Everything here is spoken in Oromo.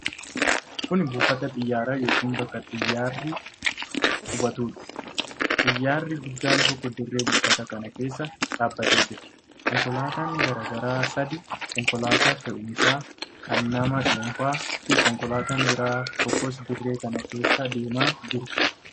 Kun buufata xiyyaaraa yookiin bakka xiyyaarri qubatuudha. Xiyyaarri guddaan tokko dirree buufata kanaa keessa dhaabbatee jira. Konkolaattonni garaa garaa sadii: konkolaataa fe'umsaa, kan nama dhuunfaa fi konkolaataan biraa tokkos dirree kana keessa deemaa jiru.